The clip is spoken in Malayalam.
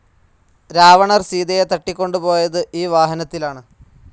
രാവണൻ സീതയെ തട്ടികൊണ്ടുപോയത് ഈ വാഹനത്തിലാണ്.